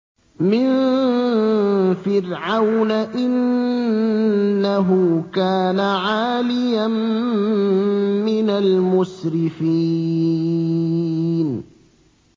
مِن فِرْعَوْنَ ۚ إِنَّهُ كَانَ عَالِيًا مِّنَ الْمُسْرِفِينَ